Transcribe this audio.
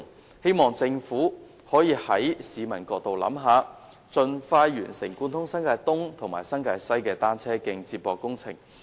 我希望政府可以從市民的角度考慮，盡快完成貫通新界東及新界西的單車徑接駁工程。